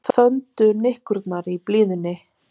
Þöndu nikkurnar í blíðunni